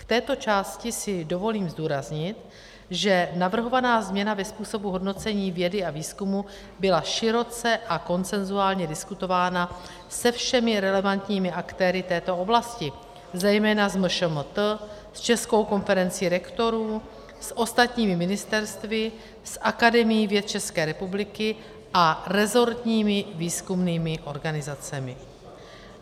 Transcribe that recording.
K této části si dovolím zdůraznit, že navrhovaná změna ve způsobu hodnocení vědy a výzkumu byla široce a konsenzuálně diskutována se všemi relevantními aktéry této oblasti, zejména s MŠMT, s Českou konferencí rektorů, s ostatními ministerstvy, s Akademií věd České republiky a resortními výzkumnými organizacemi.